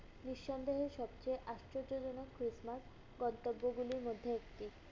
নিঃসন্দেহে সবচেয়ে আশ্চর্যজনক Christmas গন্তব্যগুলির মধ্যে একটি।